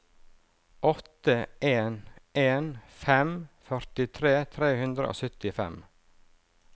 åtte en en fem førtitre tre hundre og syttifem